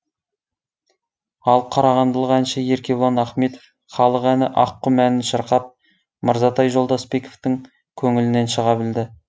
ал қарағандылық әнші еркебұлан ахметов халық әні аққұм әнін шырқап мырзатай жолдасбековтың көңілінен шыға білді